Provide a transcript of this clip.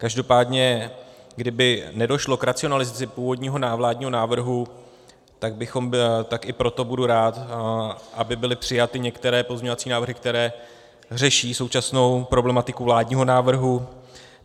Každopádně kdyby nedošlo k racionalizaci původního vládního návrhu, tak i proto budu rád, aby byly přijaty některé pozměňovací návrhy, které řeší současnou problematiku vládního návrhu.